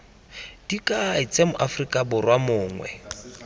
dikai tse moaforika borwa mongwe